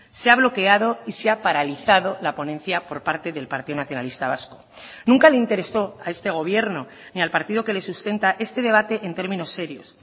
se ha bloqueado y se ha paralizado la ponencia por parte del partido nacionalista vasco nunca le interesó a este gobierno ni al partido que le sustenta este debate en términos serios